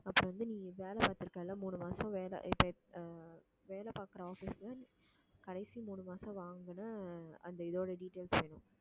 அப்புறம் வந்து நீ வேலை பார்த்திருக்க இல்லை மூணு மாசம் வேலை அஹ் வேலை பார்க்கிற office ல கடைசி மூணு மாசம் வாங்கின அந்த இதோட details வேணும்